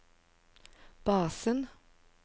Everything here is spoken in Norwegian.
basen